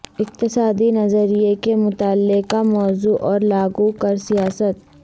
اقتصادی نظریہ کے مطالعہ کا موضوع اور لاگو کر سیاسیات